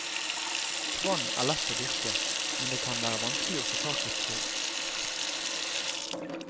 Kvann er lett å dyrke, men det kan være vanskelig å få tak i frø.